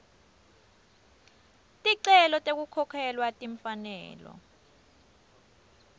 ticelo tekukhokhelwa timfanelo